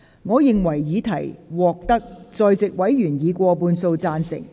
我認為議題獲得在席委員以過半數贊成。